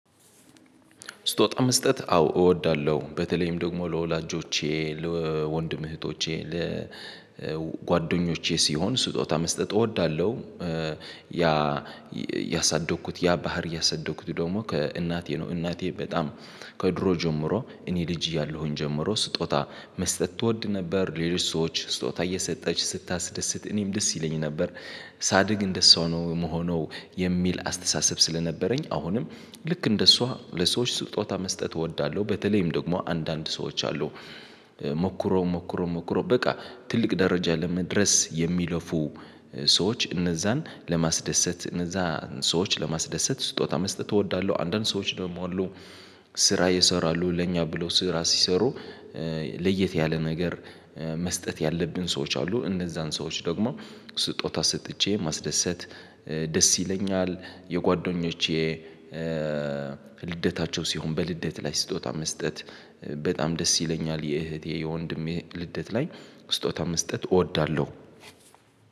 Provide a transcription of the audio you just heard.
ስጦታመስጠት አዎ እወዳለሁ በተለይም ደግሞ ለወላጆቼ ለወንድም እህቶቼ ለጓደኞቼ ሲሆን ስጦታ መስጠት እወዳለሁ። ያ ያሳደግኩት ያ ባህሪየ ያሳደግኩት ደግሞ ከእናቴ ነው እናቴ በጣም ከድሮ ጀምሮ እኔ ልጅ እያለሁኝ ጀምሮ ስጦታ መስጠት ትወድ ነበር ሌሎች ሰዎች ስጦታ እየሰጠች ስታስደስት እኔም ደስ ይለኝ ነበር። ሳድግ እንደሷ ነው የምሆነው የሚል አስተሳሰብ ስለነበረኝ አሁንም ልክ እንደሷ ለሰዎች ስጦታ መስጠት እወዳለሁ። በተለይም ደግሞ አንዳንድ ሰዎች አሉ ሞክሮ ሞክሮ ሞክሮ በቃ ትልቅ ደረጃ ለመድረስ የሚለፉ ሰዎች እነዛን ለማስደሰት እነዛን ሰዎች ለማስደሰት ስጦታ መስጠት እወዳለሁ። አንዳንድ ሰዎች ደሞ አሉ፤ ስራ ይሰራሉ ለኛ ብለው ስራ ሲሰሩ ለየት ያለ ነገር መስጠት ያለብን ሰዎች አሉ፤ እንደዛን ሰዎች ደግሞ ስጦታ ሰጥቼ ማስደሰት ደስ ይለኛል፤። የጓደኞቼ ልደታቸው ሲሆን በልደት ላይ ስጦታ መስጠት በጣም ደስ ይለኛል፤። የእህቴ የወንድሜ ልደት ላይ ስጦታ መስጠት እወዳለሁ፤።